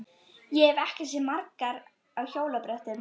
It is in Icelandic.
Ég hef ekki séð margar á hjólabrettum.